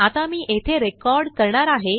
आता मी येथेरेकॉर्ड करणार आहे